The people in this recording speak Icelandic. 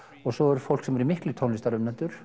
og svo er fólk sem eru miklir